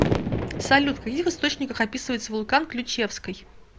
салют в каких источниках описывается вулкан ключевской